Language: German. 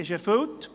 »– ist erfüllt.